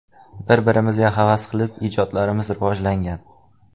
Bir-birimizga havas qilib ijodlarimiz rivojlangan.